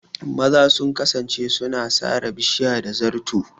Maza sun kasance suna sare bishiya da zato.